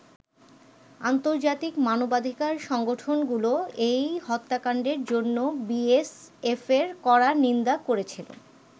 আন্তর্জাতিক মানবাধিকার সংগঠনগুলোও এই হত্যাকান্ডের জন্য বি এস এফের কড়া নিন্দা করেছিল।